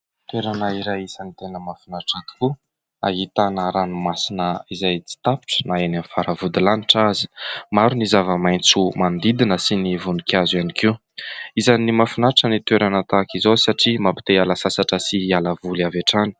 Toerana iray isany tena mahafinaritra tokoa, ahitana ranomasina izay tsy tapitra na eny amin'ny fara-vodilanitra aza. Maro ny zava-maitso manodidina sy ny voninkazo ihany koa. Isan'ny mahafinaritra ny toerana tahak'izao satria mampite hiala sasatra sy hiala voly avy hatrany !